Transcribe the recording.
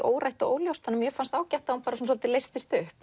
órætt og óljóst og mér fannst ágætt að hún svolítið leystist upp